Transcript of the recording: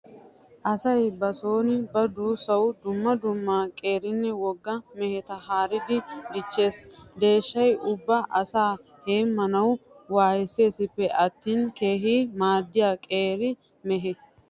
Asay ba sooni ba duussawu dumma dumma qeerinne wogga meheta haaridi dichchees. Deeshshay ubba asaa heemmanawu waayisseesippe attin keehi maaddiya qeeri mehe.